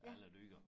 Af alle dyr